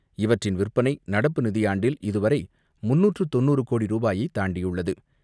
இவற்றின் விற்பனை நடப்பு நிதியாண்டில் இதுவரை முன்னூற்று தொண்ணூறு கோடி ரூபாயை தாண்டியுள்ளது.